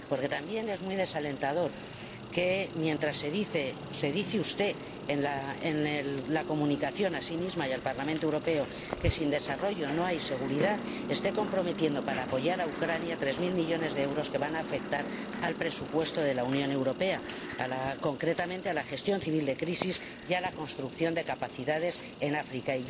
Porque también es muy desalentador que, mientras se dice usted en la comunicación ―a sí misma y al Parlamento Europeo― que sin desarrollo no hay seguridad, esté comprometiendo ―para apoyar a Ucrania― tres mil millones de euros que van a afectar al presupuesto de la Unión Europea, concretamente a la gestión civil de crisis y a la construcción de capacidades en África.